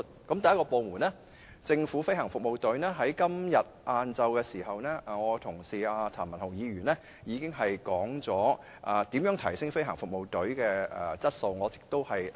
第一個部門是飛行服務隊，我的同事譚文豪議員今天下午已經指出如何提升飛行服務隊的質素，我略而不提了。